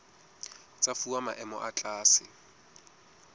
tsa fuwa maemo a tlase